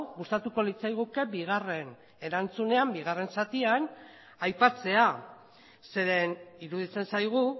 gustatuko litzaiguke bigarren zatian aipatzea zeren eta iruditzen zaigu